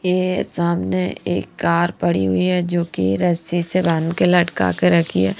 यह सामने एक कार पड़ी हुई है जो कि रस्सी से बांध के लटका के रखी है।